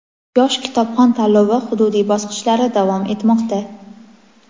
"Yosh kitobxon" tanlovi hududiy bosqichlari davom etmoqda!.